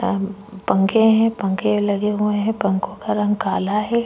पंखे हैं पंखे लगे हुए हैं पंखों का रंग काला है।